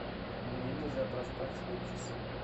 мне нельзя проспать свои часы